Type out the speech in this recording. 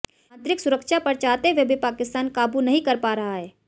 आंतरिक सुरक्षा पर चाहते हुए भी पाकिस्तान काबू नहीं कर पा रहा है